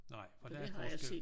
Nej for der er forskel